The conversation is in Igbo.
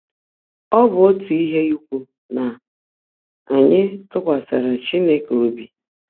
Ọ́ BỤ́ ótú íhe íkwú ná ányị́ tụ́kwasị́rị́ Chínekè óbí.